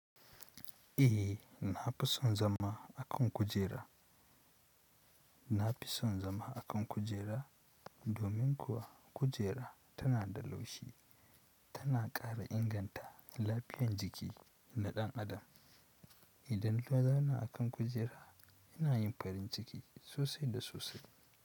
Eh, na fi son zama a kan kujera. Na fi son zama a kan kujera domin kuwa kujera tana da laushi, tana ƙara inganta lafiyan jiki na ɗan adam. Idan ka zauna a kan kujera ina yin farin ciki sosai da sosai.